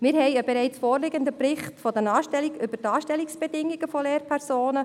Wir haben einen bereits vorliegenden Bericht über die Anstellungsbedingungen von Lehrpersonen.